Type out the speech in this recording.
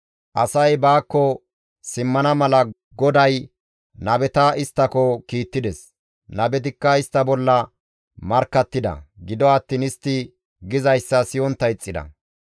Asay baakko simmana mala GODAY nabeta isttako kiittides; nabetikka istta bolla markkattida; gido attiin istti gizayssa siyontta ixxida.